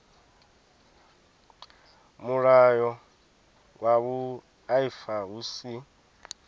mulayo wa vhuaifa hu si